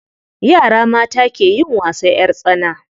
Yara mata ke yin wasan ƴar tsana.